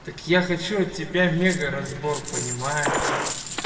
так я хочу от тебя мегаразбор понимаешь